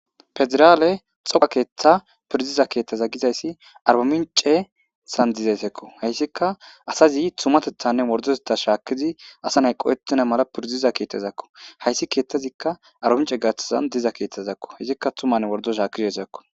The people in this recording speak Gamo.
Federale xaafo keetha piridiza kethaza gizaysi arbaminchesan dizaysako , haysika azazi tumatethane wordotetha shaakidi asa nayi qohetena mala piridiza keethazako, haysi keethazika arbaminche gathani diza keethazako, haysika tummane wordo shaakizaysako.